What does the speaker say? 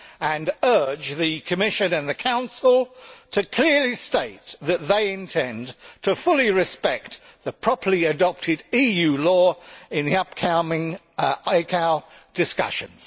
I urge the Commission and the Council to clearly state that they intend to fully respect the properly adopted EU law in the upcoming ICAO discussions.